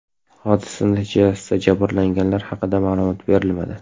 Hodisa natijasida jabrlanganlar haqida ma’lumot berilmadi.